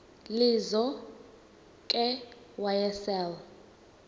lizo ke wayesel